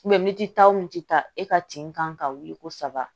militi ta o min tɛ taa e ka ten kan ka wuli ko saba